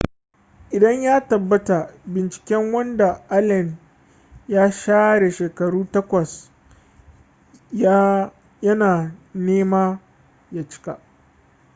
idan ya tabbata binciken wanda allen ya share shekaru takwas ya na nema ya cika